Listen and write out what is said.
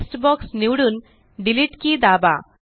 text box निवडून delete key दाबा